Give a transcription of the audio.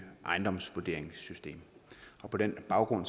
ejendomsvurderingssystem på den baggrund